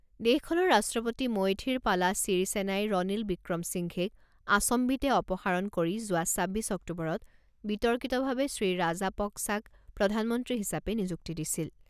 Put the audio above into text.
দেশখনৰ ৰাষ্ট্ৰপতি মৈথিৰপালা ছিৰিছেনাই ৰনিল ৱিক্ৰম সিংঘেক আচম্বিতে অপসাৰণ কৰি যোৱা ছাব্বিছ অক্টোবৰত বিতৰ্কিতভাৱে শ্ৰীৰাজাপক্‌ছাক প্ৰধানমন্ত্ৰী হিচাপে নিযুক্তি দিছিল।